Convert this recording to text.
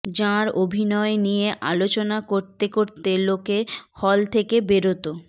যাঁর অভিনয় নিয়ে আলোচনা করতে করতে লোকে হল থেকে বেরোত